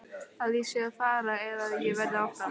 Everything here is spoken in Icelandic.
Að ég sé að fara eða að ég verði áfram?